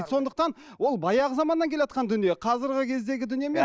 сондықтан ол баяғы заманнан келатқан дүние қазіргі кездегі дүние емес